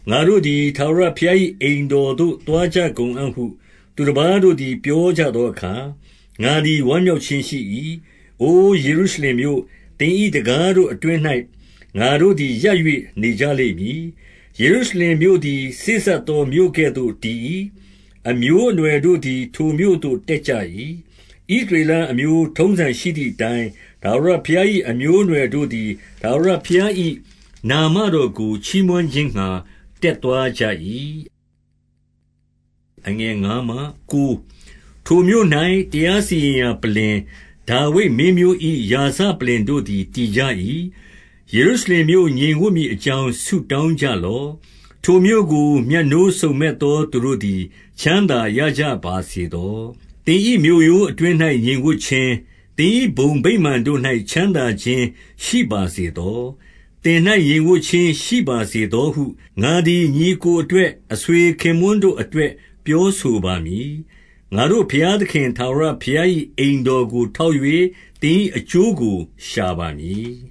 ငါတို့သည် ထာဝရဘုရား၏ အိမ်တော်သို့ သွားကြကုန်အံ့ဟု သူတပါးတို့သည် ပြောကြသောအခါ၊ ငါသည် ဝမ်းမြောက်ခြင်းရှိ၏။ 2 အို ယေရုရှလင်မြို့၊ သင်၏တံခါးတို့အတွင်း၌ ငါတို့သည်ရပ်၍ နေကြလိမ့်မည်။ 3 ယေရုရှလင်မြို့သည် စေ့စပ်သော မြို့ကဲ့သို့ တည်၏။ 4 အမျိုးအနွှယ်တို့သည် ထိုမြို့သို့တက်ကြ၏။ ဣသရေလအမျိုး ထုံးစံရှိသည်အတိုင်း၊ ထာဝရဘုရား၏ အမျိုးအနွယ်တို့သည် ထာဝရဘုရား၏ နာမတော်ကို ချီးမွမ်းခြင်းငှါ တက်သွားကြ၏။ 5 ထိုမြို့၌ တရားစီရင်ရာပလ္လင်၊ ဒါဝိဒ်မင်းမျိုး၏ ရာဇပလ္လင်တို့ သည်တည်ကြ၏။ 6 ယေရုရှလင်မြို့ ငြိမ်ဝပ်မည်အကြောင်း ဆု တောင်းကြလော့။ ထိုမြို့ကို မြတ်နိုးစုံမက်သော သူတို့သည် ချမ်းသာရကြပါစေသော။ 7 သင်၏မြို့ရိုးအတွင်း၌ ငြိမ်ဝပ်ခြင်း၊ သင်၏ဘုံ ဗိမာန်တို့၌ ချမ်းသာခြင်းရှိပါစေသော။ 8 သင်၌ငြိမ်ဝပ်ခြင်းရှိပါစေသောဟု ငါသည် ညီအစ်ကိုအတွက်၊ အဆွေခင်ပွန်းတို့အတွက် ပြောဆို ပါမည်။ 9 ငါတို့ဘုရားသခင် ထာဝရဘုရား၏ အိမ်တော် ကို ထောက်၍၊ သင်၏အကျိုးကို ရှာပါမည်